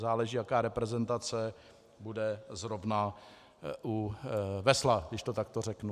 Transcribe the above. Záleží, jaká reprezentace bude zrovna u vesla, když to takto řeknu.